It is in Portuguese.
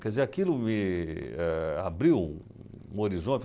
Quer dizer, aquilo me eh abriu um horizonte.